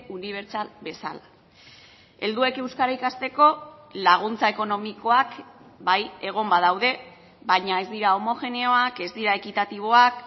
unibertsal bezala helduek euskara ikasteko laguntza ekonomikoak bai egon badaude baina ez dira homogeneoak ez dira ekitatiboak